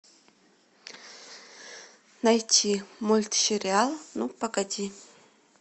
найти мультсериал ну погоди